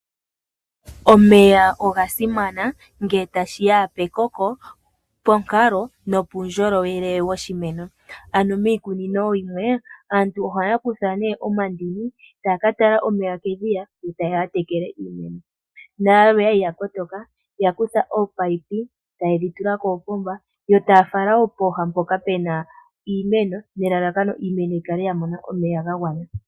Omeya oga simana ngele tashi ya pekoko, ponkalo nopuundjolowele woshimeno. Ano miikunino yimwe, aantu ohaya kutha omandini, taya ka tala omeya kedhiya, e taye ya ya tekele iimeno. Nayalwe oya li ya kotoka, ya kutha oopayipi, taye dhi tula koopomba, yo taya fala wo pooha mpoka pu na iimeno, nelalakano iimeno yi kale ya mona omeya ga gwana.